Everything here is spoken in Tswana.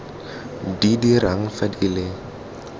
di dirang fa di le